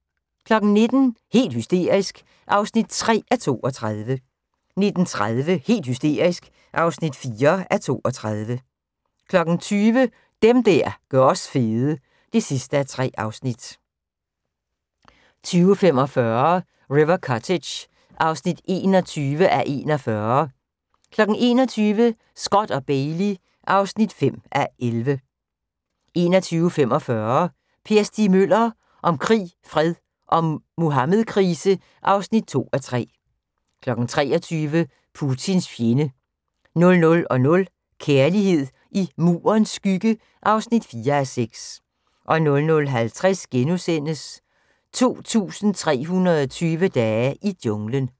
19:00: Helt hysterisk (3:32) 19:30: Helt hysterisk (4:32) 20:00: Dem der gør os fede (3:3) 20:45: River Cottage (21:41) 21:00: Scott & Bailey (5:11) 21:45: Per Stig Møller – om krig, fred og Muhammedkrise (2:3) 23:00: Putins fjende 00:00: Kærlighed i Murens skygge (4:6) 00:50: 2320 dage i junglen *